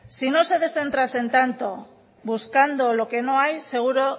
si no se descentrase tanto buscando lo que no hay seguro